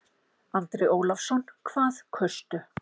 Andri Ólafsson: Hvað kaustu?